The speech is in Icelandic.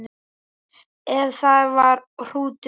Ef það var hrútur.